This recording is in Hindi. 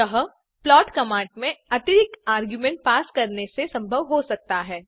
यह प्लॉट कमांड में अतिरिक्त आर्ग्युमेंट पास करने से संभव हो सकता है